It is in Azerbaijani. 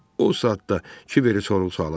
O saat da Kiberi sorğu-suala tutdu.